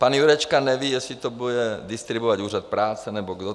Pan Jurečka neví, jestli to bude distribuovat úřad práce nebo kdo.